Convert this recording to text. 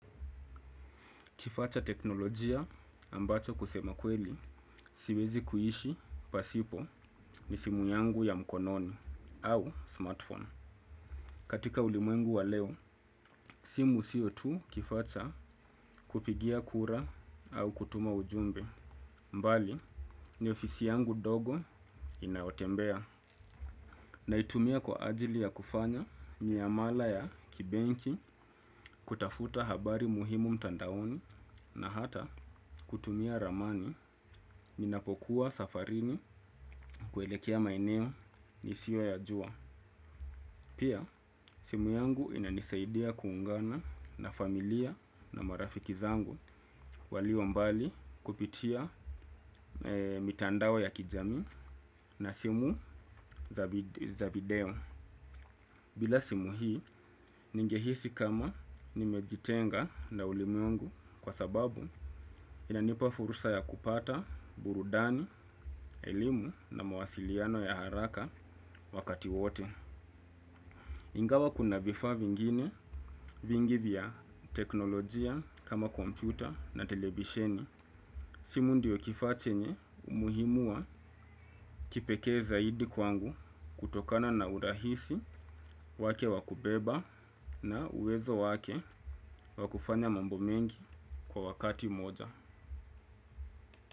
Kifaa cha teknolojia ambacho kusema kweli siwezi kuishi pasipo ni simu yangu ya mkononi au smartphone. Katika ulimwengu wa leo, simu sio tu kifaa cha kupigia kura au kutuma ujumbe. Mbali, ni ofisi yangu dogo inayotembea. Naitumia kwa ajili ya kufanya miamala ya kibenki, kutafuta habari muhimu mtandaoni na hata kutumia ramani ninapokuwa safarini kuelekea maeneo nisiyoyajua. Pia, simu yangu inanisaidia kuungana na familia na marafiki zangu walio mbali kupitia mitandao ya kijamii na simu za video. Bila simu hii, ningehisi kama nimejitenga na ulimwengu kwa sababu inanipa fursa ya kupata burudani, elimu na mawasiliano ya haraka wakati wote. Ingawa kuna vifaa vingine vingi vya teknolojia kama kompyuta na televisheni. Simu ndio kifaa chenye umuhimu wa kipekee zaidi kwangu kutokana na urahisi wake wa kubeba na uwezo wake wa kufanya mambo mengi kwa wakati moja.